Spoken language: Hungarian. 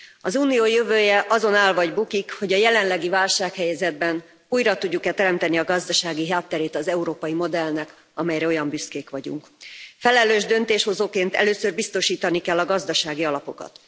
Az Unió jövője azon áll vagy bukik, hogy a jelenlegi válsághelyzetben újra tudjuk e teremteni a gazdasági hátterét az európai modellnek, amelyre olyan büszkék vagyunk. Felelős döntéshozóként először biztosítani kell a gazdasági alapokat.